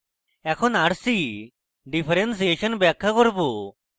এখন rc differentiation ব্যাখ্যা করব